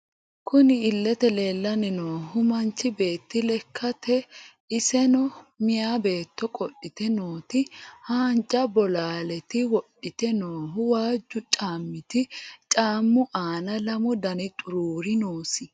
Kunni illete leelani noohu manchi beeti lekaati iseño miyaa beettoti qodhite nooti haanja bolaaleti wodhite noohu waajo caamati caamu aana lamu Dani xuruuri noosi.